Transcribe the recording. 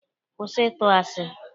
Kwụsị ịtụ asi!